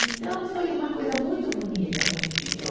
Então, foi uma coisa muito bonita que a gente deu.